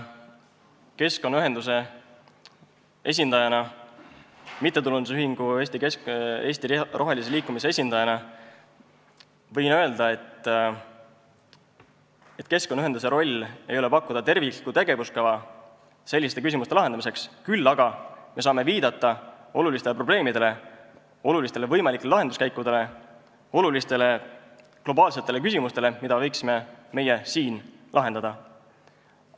Keskkonnaühenduse esindajana, MTÜ Eesti Roheline Liikumine esindajana võin öelda, et keskkonnaühenduse roll ei ole pakkuda terviklikku tegevuskava selliste küsimuste lahendamiseks, küll aga saame viidata olulistele probleemidele ja globaalsetele küsimustele, mida meie siin võiksime lahendada, nendele võimalikele lahenduskäikudele.